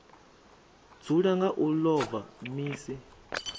dzula nga u ḽova misi